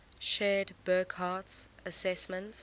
shared burckhardt's assessment